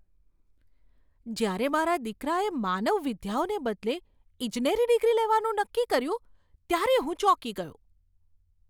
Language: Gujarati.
જ્યારે મારા દીકરાએ માનવ વિદ્યાઓને બદલે ઈજનેરી ડિગ્રી લેવાનું નક્કી કર્યું, ત્યારે હું ચોંકી ગયો.